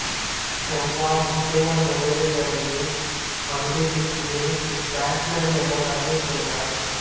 Steve Waugh Muttiah முரளிதரனைப் பந்து வீச்சின் பிராட்மன் என வர்ணித்துள்ளார்